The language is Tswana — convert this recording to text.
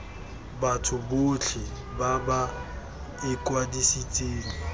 batho botlhe ba ba ikwadisitseng